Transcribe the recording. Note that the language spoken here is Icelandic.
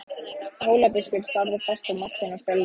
Hólabiskup starði fast á Martein og fölnaði.